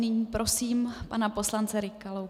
Nyní prosím pana poslance Rykalu.